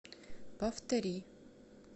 повтори